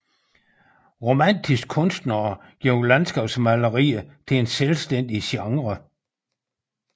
Romantiske kunstnere gjorde landskabsmaleriet til en selvstændig genre